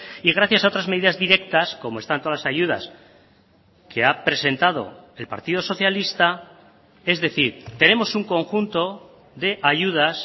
y gracias a otras medidas directas como están todas las ayudas que ha presentado el partido socialista es decir tenemos un conjunto de ayudas